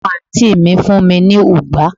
omo anti mi fún mi ni ugbà